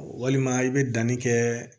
Walima i bɛ danni kɛ